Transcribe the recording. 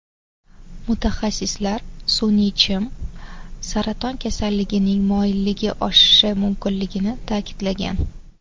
Mutaxassislar sun’iy chim saraton kasalligining moyilligi oshishi mumkinligini ta’kidlagan.